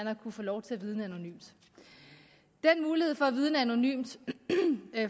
har kunnet få lov til at vidne anonymt den mulighed for at vidne anonymt